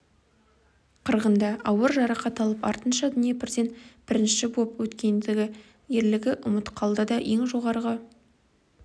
қырғында ауыр жарақат алып артынша днепрден бірінші боп өткендегі ерлігі ұмыт қалды да ең жоғарғы